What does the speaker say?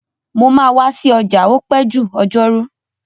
Mo máa wa si ọjà o pẹ́ jù ọjọ́rú